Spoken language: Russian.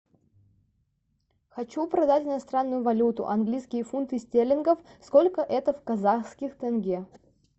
хочу продать иностранную валюту английские фунты стерлингов сколько это в казахских тенге